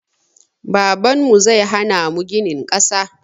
Babanmu zai hana mu ginin ƙasa